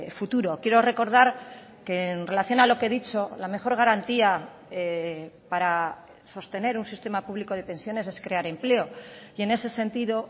futuro quiero recordar que en relación a lo que he dicho la mejor garantía para sostener un sistema público de pensiones es crear empleo y en ese sentido